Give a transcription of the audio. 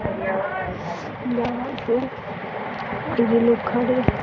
यहाँ पे कुछ लिखल है।